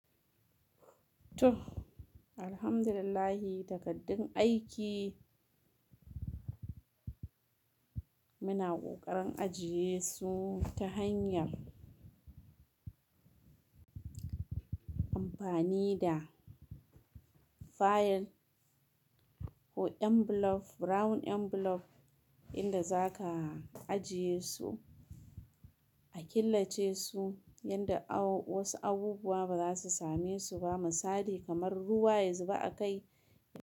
To Alhamdulillah takardun aiki. Muna ƙoƙarin ajiye su ta hanyar amfani da file ko envelope, brown envelope inda za ka ajiye su, a killace su yanda wasu abubuwa ba za su same su ba misali kamar ruwa ya zuba a kai.